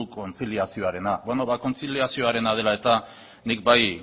kontziliazioarena bueno kontziliazioarena dela eta nik bai